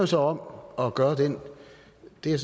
så om at gøre den og det